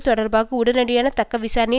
தொடர்பாக உடனடியான தக்க விசாரணையை